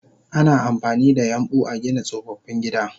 Ana amfanida yambu agina tsofaffin gida